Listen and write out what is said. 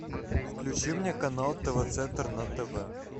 включи мне канал тв центр на тв